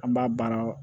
An b'a baara